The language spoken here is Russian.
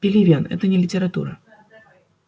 пелевин это не литература